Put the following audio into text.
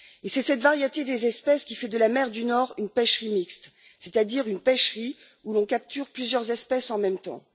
Et c'est cette variété des espèces qui fait de la mer du Nord une pêcherie mixte, c'est à dire une pêcherie où l'on capture plusieurs espèces en même temps.